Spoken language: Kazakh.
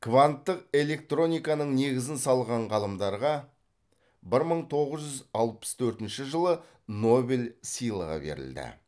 кванттық электрониканың негізін салған ғалымдарға бір мың тоғыз жүз алпыс төртінші жылы нобель сыйлығы берілді